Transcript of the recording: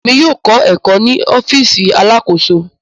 Èmi yóò kọ ẹkọ ni ọfiisi Alakoso.